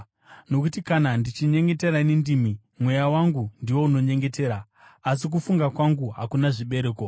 Nokuti kana ndichinyengetera nendimi, mweya wangu ndiwo unonyengetera, asi kufunga kwangu hakuna zvibereko.